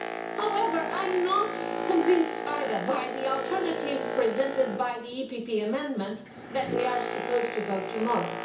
However, I am not convinced either by the alternative presented by the PPE DE Group amendment that we are supposed to vote on tomorrow.